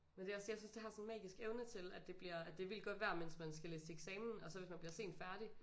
Men det er også jeg synes det har sådan en magisk evne til at det bliver at det er vildt godt vejr mens man skal læse til eksamen og så hvis man bliver sent færdig